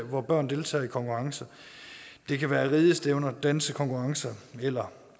hvor børn deltager i konkurrence det kan være ridestævner dansekonkurrencer eller